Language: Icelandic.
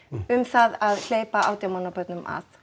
um það að hleypa átján mánað börnum að